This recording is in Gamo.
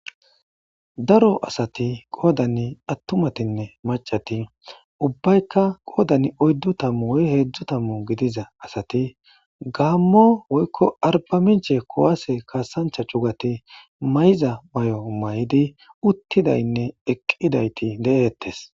daro asati qoodani attumatinne macati ubbaykka qoodan oyddu tamu oy heedzdzo tamu gidiza asati gaammo woykko arba minche kowaase kaasancha cugati may7iza may7o may7idi uttidaynne eqqidayti de7eettes